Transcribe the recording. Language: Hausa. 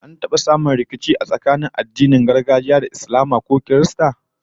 An taba samun rikici kuwa tsakanin masu addinin gargajiya da mabiya addinan Islama ko Kirista?